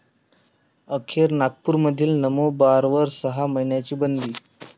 अखेर नागपूरमधील नमो बारवर सहा महिन्यांची बंदी